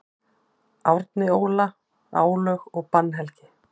Árni Óla: Álög og bannhelgi.